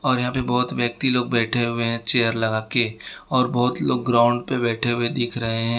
और यहां पे बहोत व्यक्ति लोग बैठे हुए हैं चेयर लगा के और बहोत लोग ग्राउंड पे बैठे हुए दिख रहे हैं।